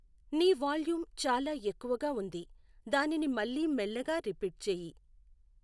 నీ వాల్యూమ్ చాలా ఎక్కువ గా వుంది దానిని మళ్లీ మెల్లిగా రిపీట్ చేయి